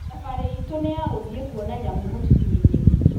Thabarĩ itũ nĩ ya gũthiĩ kuona nyamũ mũtitũ-inĩ.